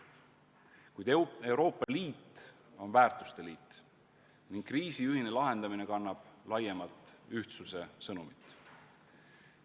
Kuid Euroopa Liit on väärtuste liit ning kriisi ühine lahendamine kannab laiemalt ühtsuse sõnumit.